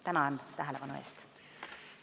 Tänan tähelepanu eest!